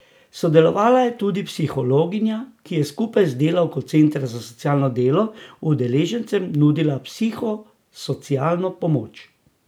Sodelovala je tudi psihologinja, ki je skupaj z delavko Centra za socialno delo udeležencem nudila psihosocialno pomoč.